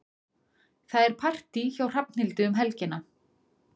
Það er partí hjá Hrafnhildi um helgina.